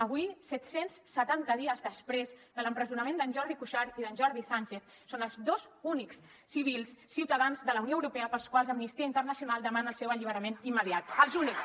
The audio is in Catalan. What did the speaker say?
avui set cents i setanta dies després de l’empresonament d’en jordi cuixart i d’en jordi sánchez són els dos únics civils ciutadans de la unió europea pels quals amnistia internacional demana el seu alliberament immediat els únics